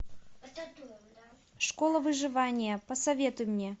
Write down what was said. школа выживания посоветуй мне